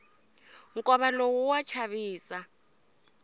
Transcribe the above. nkova lowu wa chavisa